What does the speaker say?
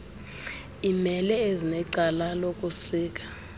imela ezinecala lokusika